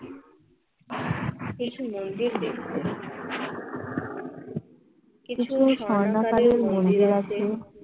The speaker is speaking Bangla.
এই মন্দিরে কিছু মন্দির আছে